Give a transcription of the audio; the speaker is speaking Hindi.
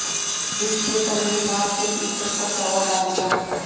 डिश के तल में मांस के शीर्ष पर चावल डाल दिया